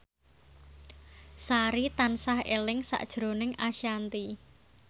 Sari tansah eling sakjroning Ashanti